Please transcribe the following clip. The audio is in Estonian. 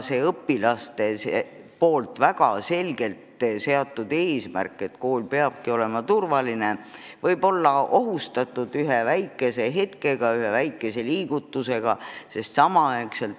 Õpilased on väga selgelt seadnud eesmärgi, et kool peab olema turvaline, aga oht võib tekkida ühe väikese liigutuse peale.